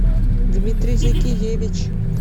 дмитрий закиевич